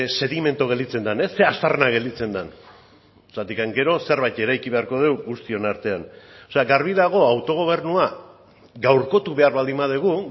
sedimentu gelditzen den zein aztarna gelditzen den zeren gero zerbait eraiki beharko dugu guztion artean o sea garbi dago autogobernua gaurko behar baldin badugu